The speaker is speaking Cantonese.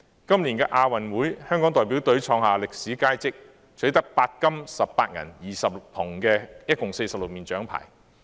今年亞洲運動會，香港代表隊創下歷史佳績，取得8金18銀20銅一共46面獎牌。